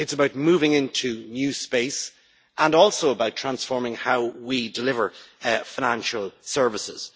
It is about moving into new space, and also about transforming how we deliver financial services.